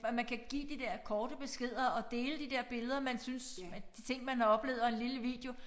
At man kan give de der korte beskeder og dele de der billeder man synes at de ting man har oplevet og en lille video